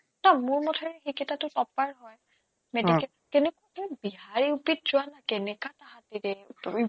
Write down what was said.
টৌ মোৰ বোধেৰে সেইকেইটাটো topper হয় medical অ কেনেকুৱাকে বিহাৰ UPinitial কেনেকুৱা তাহাতে দিয়ে